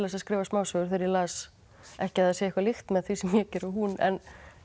að skrifa smásögur þegar ég las ekki að það sé eitthvað líkt með því sem ég geri og hún en